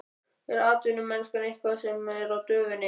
Er atvinnumennska eitthvað sem er á döfinni?